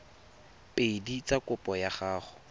pedi tsa kopo ya go